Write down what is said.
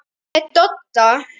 Með Dodda?